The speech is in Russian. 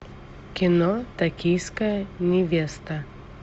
кино токийская невеста